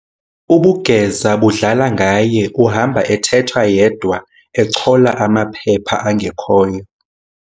Ubugeza budlala ngaye uhamba ethetha yedwa echola amaphepha angekhoyo.